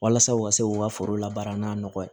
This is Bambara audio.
Walasa u ka se k'u ka foro labaara n'a nɔgɔ ye